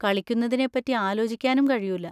കളിക്കുന്നതിനെ പറ്റി ആലോചിക്കാനും കഴിയൂല.